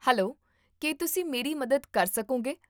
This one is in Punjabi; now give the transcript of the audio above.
ਹੈਲੋ, ਕੀ ਤੁਸੀਂ ਮੇਰੀ ਮਦਦ ਕਰ ਸਕੋਗੇ?